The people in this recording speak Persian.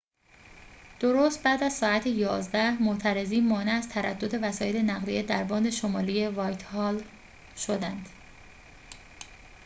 درست بعد از ساعت ۱۱:۰۰ معترضین مانع از تردد وسایل نقلیه در باند شمالی وایتهال شدند